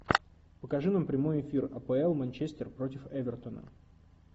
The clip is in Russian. покажи нам прямой эфир апл манчестер против эвертона